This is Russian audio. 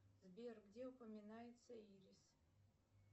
сбер где упоминается ирис